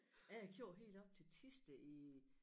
Jeg har kørt helt op til Thisted i